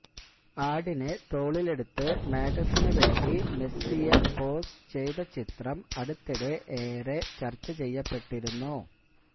ആടിനെ തോളിലെടുത്ത് മാഗസിന് വേണ്ടി മെസ്സിയ പോസ് ചെയ്ത ചിത്രം അടുത്തിടെ ഏറെ ചര്ച്ച ചെയ്യപ്പെട്ടിരുന്നു